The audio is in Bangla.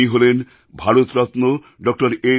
উনি হলেন ভারতরত্ন ডিআর